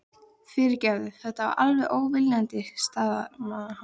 Fyrirgefðu, þetta var alveg óviljandi stamaði hann.